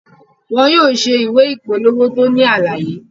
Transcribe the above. Wọn yóò ṣe ìwé ìpolówó tó ní àlàyé